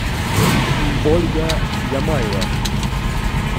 ольга ямаева